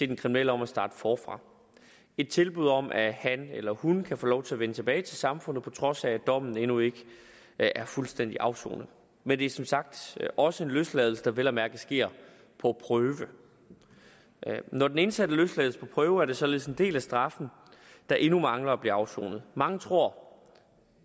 den kriminelle om at starte forfra et tilbud om at han eller hun kan få lov til at vende tilbage til samfundet på trods af at dommen endnu ikke er fuldstændig afsonet men det er som sagt også en løsladelse der vel at mærke sker på prøve når den indsatte løslades på prøve er der således en del af straffen der endnu mangler at blive afsonet mange tror